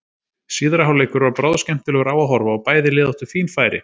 Síðari hálfleikur var bráðskemmtilegur á að horfa og bæði lið áttu fín færi.